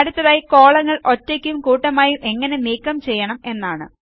അടുത്തതായി കോളങ്ങൾ ഒറ്റയ്ക്കും കൂട്ടമായും എങ്ങനെ നീക്കം ചെയ്യണം എന്നാണ്